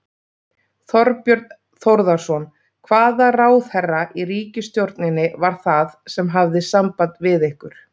Þorbjörn Þórðarson: Hvaða ráðherra í ríkisstjórninni var það sem hafði samband við ykkur?